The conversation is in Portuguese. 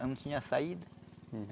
Não tinha saída.